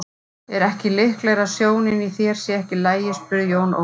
Er ekki líklegara að sjónin í þér sé ekki í lagi spurði Jón Ólafur.